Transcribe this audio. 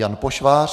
Jan Pošvář: